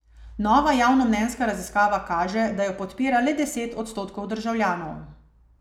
Nova javnomnenjska raziskava kaže, da jo podpira le deset odstotkov državljanov.